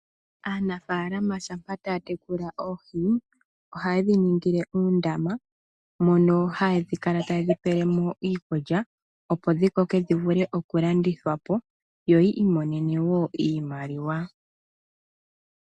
Aanafalama shampa taya tekula oohi, ohaye dhiningile uundama, mono haya kala tayedhi pelemo iikulya, opo dhikoke dhivule okulandithwapo, yo yi imonenemo wo iimaliwa.